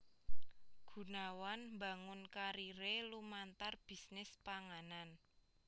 Gunawan mbangun kariré lumantar bisnis panganan